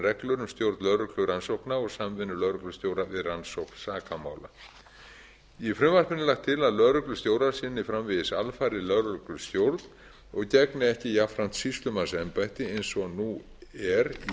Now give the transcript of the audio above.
reglur um stjórn lögreglurannsókna og samvinnu lögreglustjóra við rannsókn sakamála í frumvarpinu er lagt til að lögreglustjórar sinni framvegis alfarið lögreglustjórn og gegni ekki jafnframt sýslumannsembætti eins og nú er í